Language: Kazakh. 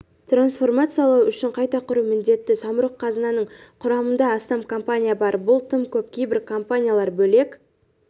трансформациялау үшін қайта құру міндетті самұрық-қазынаның құрамында астам компания бар бұл тым көп кейбір компаниялар бөлек